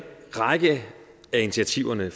række af initiativerne